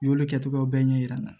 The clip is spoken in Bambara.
U y'olu kɛ cogoyaw bɛɛ ɲɛ yira an na